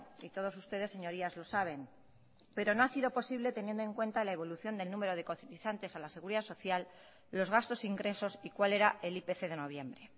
y todos ustedes señorías lo saben pero no ha sido posible teniendo en cuenta la evolución del número de cotizantes a la seguridad social los gastos ingresos y cual era el ipc de noviembre